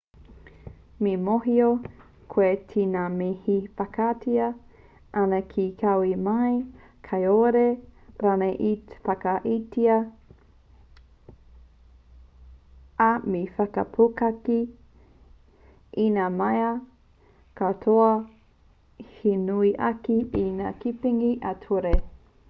me mōhio koe ki ngā mea e whakaaetia ana te kawe mai kāore rānei i te whakaaetia ā me whakapuaki i ngā mea katoa he nui ake i ngā tepenga ā-ture